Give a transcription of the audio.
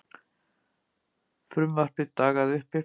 Frumvarpið dagaði uppi.